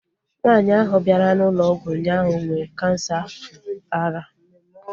Nwaanyi ahu bịara na ụlọ ọgwụ ụnyaahụ nwee kansa ara